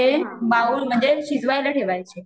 ते बाउल मध्ये शिजवायला ठेवायचे